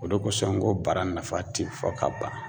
O de kosɔn n ko bara nafa ti fɔ ka ban